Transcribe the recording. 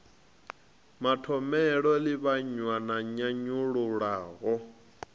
mathomele o livhanywa na nyanyulaho